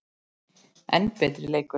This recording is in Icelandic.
enn betri leikur.